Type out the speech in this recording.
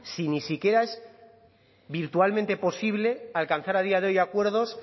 si ni siquiera es virtualmente posible alcanzar a día de hoy acuerdos